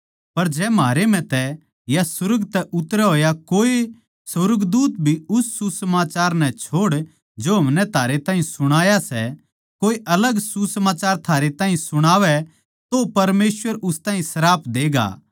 पर जै म्हारे म्ह तै या सुर्ग तै उतरया होया कोऐ सुर्गदूत भी उस सुसमाचार नै छोड़ जो हमनै थारै ताहीं सुणाया सै कोऐ अलग सुसमाचार थारै ताहीं सुणावै तो परमेसवर उस ताहीं श्राप देगा